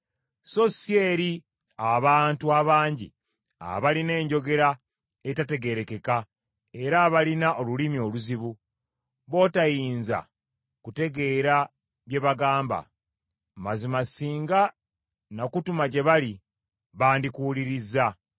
so si eri abantu abangi abalina enjogera etategeerekeka era abalina olulimi oluzibu, b’otayinza kutegeera bye bagamba. Mazima singa nakutuma gye bali, bandikuwulirizza.